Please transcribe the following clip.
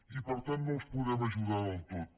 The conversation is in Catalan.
i per tant no els podem ajudar del tot